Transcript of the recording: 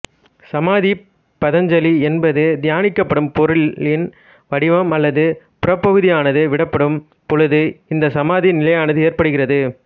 சமாதி பதஞ்சலி என்பது தியானிக்கப்படும் பொருளின் வடிவம் அல்லது புறப்பகுதியானது விடப்படும் பொழுது இந்த சமாதி நிலையானது ஏற்படுகிறது